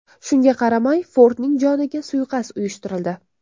Shunga qaramay Fordning joniga suiqasd uyushtirildi.